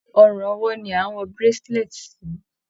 Ọrùn ọwó ni a n wọ bracelet si.